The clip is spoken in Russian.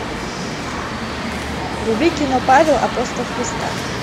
вруби кино павел апостол христа